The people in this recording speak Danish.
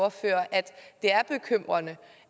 at det er bekymrende